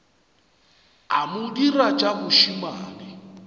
a mo dira tša bošemane